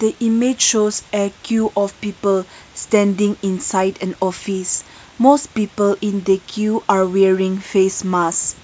the image shows a que of people standing inside an office most people in the que are wearing face mask.